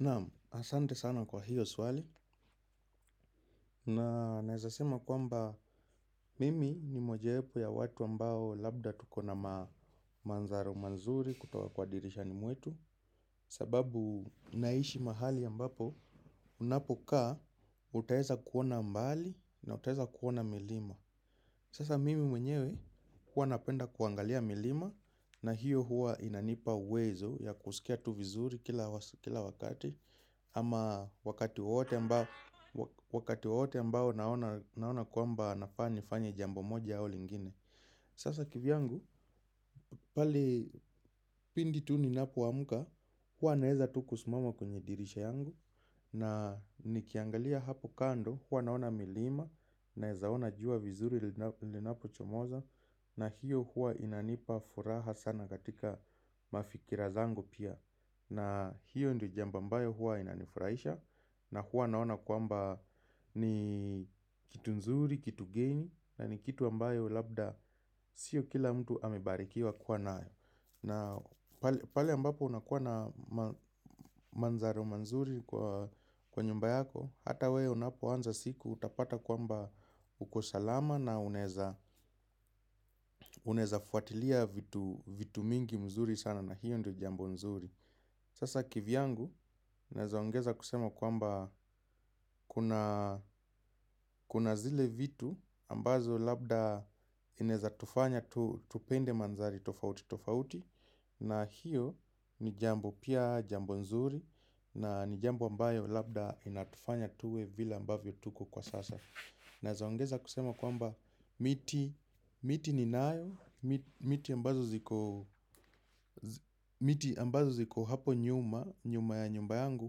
Naam, asante sana kwa hiyo swali na naezasema kwamba mimi ni mojawepo ya watu ambao labda tukona mandharo mazuri kutoka kwa dirisha ni mwetu. Sababu naishi mahali ambapo unapokaa utaeza kuona mbali na utaeza kuona milima. Sasa mimi mwenyewe huwa napenda kuangalia milima na hiyo huwa inanipa uwezo ya kusikia tu vizuri kila wakati. Ama wakati wote ambao naona kwamba nafaa nifanye jambo moja au lingine. Sasa kivyangu pale pindi tu ninapoamuka huwa naeza tu kusimama kwenye dirisha yangu na nikiangalia hapo kando huwa naona milima. Naezaona jua vizuri linapo chomoza. Na hiyo hua inanipa furaha sana katika mafikira zangu pia. Na hiyo ndo jambo ambayo huwa inanifurahisha. Na huwa naona kwamba ni kitu nzuri, kitu geni. Na ni kitu ambayo labda sio kila mtu amebarikiwa kuwa nayo. Na pale ambapo unakuwa na manzaro manzuri kwa nyumba yako. Hata wewe unapoanza siku utapata kwamba uko salama. Na unaeza fuatilia vitu mingi mzuri sana na hiyo ndio jambo nzuri. Sasa kivyangu naeza ongeza kusema kwamba kuna zile vitu ambazo labda inaezatufanya tupende mandhari tofauti tofauti. Na hiyo ni jambo pia jambo nzuri na ni jambo ambayo labda inatufanya tuwe vile ambavyo tuko kwa sasa. Naezaongeza kusema kwamba miti ni nayo, miti ambazo ziko hapo nyuma, nyuma ya nyumba yangu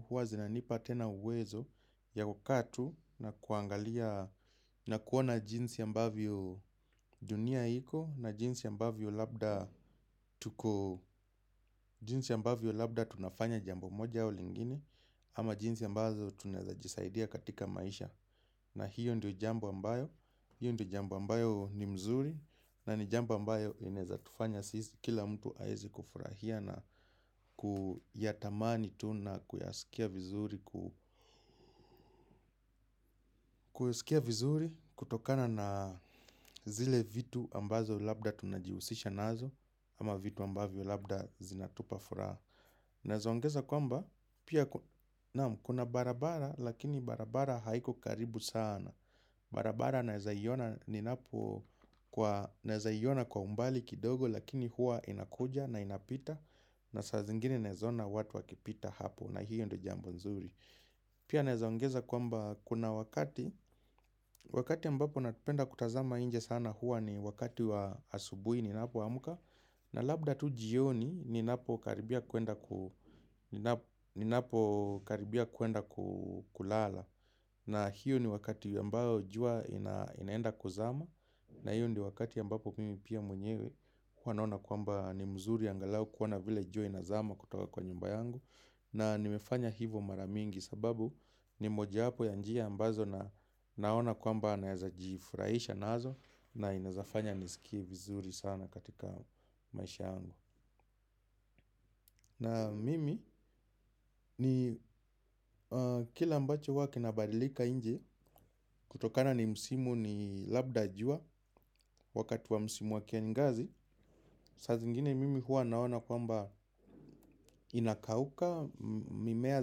huwa zinanipa tena uwezo ya kukaa tu na kuangalia na kuona jinsi ambavyo dunia iko na jinsi ambavyo labda tunafanya jambo moja au lingini ama jinsi ambavyo tunaezajisaidia katika maisha. Na hiyo ndio jambo ambayo, hiyo ndio jambo ambayo ni mzuri na ni jambo ambayo inaeza tufanya kila mtu aeze kufurahia na kuyatamani tu na kuyasikia vizuri kutokana na zile vitu ambazo labda tunajihusisha nazo ama vitu ambavyo labda zinatupa furaha. Naezaongeza kwamba pia kuna barabara lakini barabara haiko karibu sana. Barabara naezaiona kwa umbali kidogo lakini huwa inakuja na inapita. Na saa zingini naezaona watu wakipita hapo na hiyo ndo jambo nzuri. Pia naezaongeza kwamba kuna wakati. Wakati ambapo napenda kutazama nje sana huwa ni wakati wa asubuhi ninapoamuka. Na labda tu jioni ninapo karibia kuenda kulala. Na hiyo ni wakati ambayo jua inaenda kuzama. Na hiyo ni wakati ambapo mimi pia mwenyewe huwa naona kwamba ni mzuri angalau kuona vile jua inazama kutoka kwa nyumba yangu. Na nimefanya hivo maramingi sababu ni moja wapo ya njia ambazo na naona kwamba naeza jifurahisha nazo. Na inaezafanya nisikie vizuri sana katika maisha yangu. Na mimi ni kile ambacho huwa kinabadilika nje. Kutokana ni msimu ni labda jua. Wakati wa msimu wa kiangazi. Saa zingini mimi huwa naona kwamba inakauka. Mimea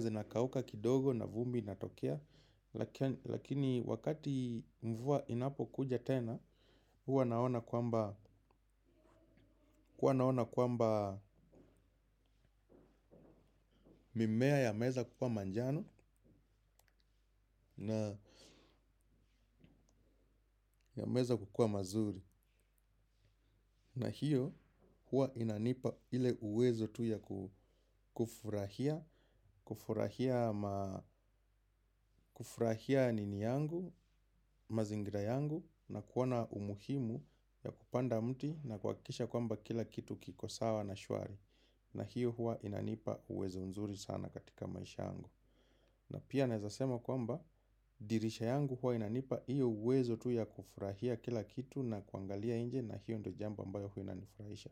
zinakauka kidogo na vumbi inatokea. Lakini wakati mvua inapo kuja tena. Huwa naona kwamba mimea yameeza kukua manjano na yameeza kukuwa mazuri. Na hiyo huwa inanipa ile uwezo tu ya kufurahia. Kufurahia nini yangu, mazingira yangu na kuona umuhimu ya kupanda mti na kuhakisha kwamba kila kitu kiko sawa na shwari. Na hiyo huwa inanipa uwezo nzuri sana katika maisha yangu. Na pia naezasema kwamba dirisha yangu huwa inanipa iyo uwezo tu ya kufurahia kila kitu na kuangalia inje na hiyo ndo jambo ambayo huwa inanifurahisha.